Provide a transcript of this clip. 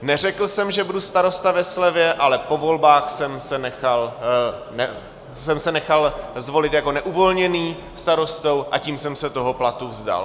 Neřekl jsem, že budu starosta ve slevě, ale po volbách jsem se nechal zvolit jako neuvolněný starostou, a tím jsem se toho platu vzdal.